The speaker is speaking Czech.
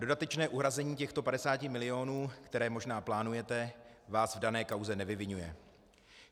Dodatečné uhrazení těchto 50 milionů, které možná plánujete, vás v dané kauze nevyviňuje.